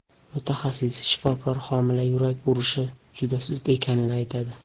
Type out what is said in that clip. Mutaxassis shifokor homila yurak urishi juda sust ekanini aytadi.